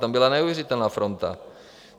Tam byla neuvěřitelná fronta.